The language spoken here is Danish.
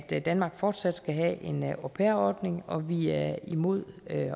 at danmark fortsat skal have en au pair ordning og vi er imod at